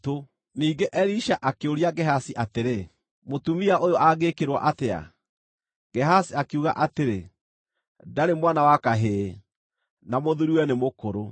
Ningĩ Elisha akĩũria Gehazi atĩrĩ, “Mũtumia ũyũ angĩĩkĩrwo atĩa?” Gehazi akiuga atĩrĩ, “Ndarĩ mwana wa kahĩĩ, na mũthuuriwe nĩ mũkũrũ.”